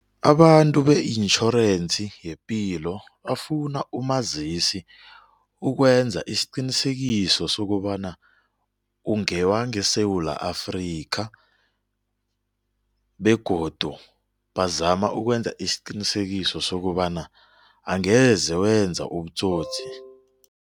Abantu be-intjhorensi yepilo bafuna umazisi ukwenza isiqinisekiso sokobana ungewangeSewula Afrika begodu bazama ukwenza isiqinisekiso sokobana angeze wenza ubutsotsi.